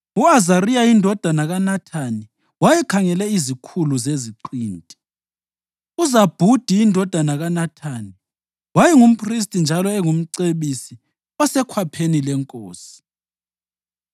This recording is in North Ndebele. u-Azariya indodana kaNathani wayekhangele izikhulu zeziqinti; uZabhudi indodana kaNathani wayengumphristi njalo engumcebisi osekhwapheni lenkosi;